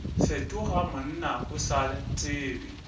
fetoga monna o sa tsebe